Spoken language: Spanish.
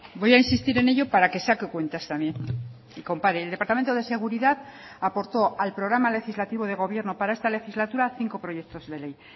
voy a insistir en ello para que saque cuentas también y compare el departamento de seguridad aportó al programa legislativo de gobierno para esta legislatura cinco proyectos de ley